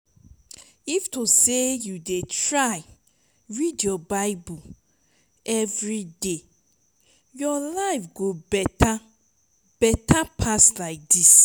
if to say you dey try read your bible everyday your life go better better pass like dis